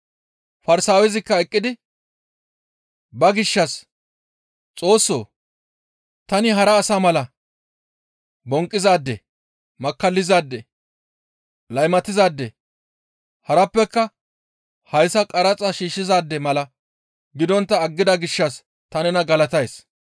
Farsaawezikka eqqidi ba gishshas, ‹Xoossoo! Tani hara asa mala bonqqizaade, makkallizaade, laymatizaade harappeka hayssa qaraxa shiishshizaade mala gidontta aggida gishshas ta nena galatays.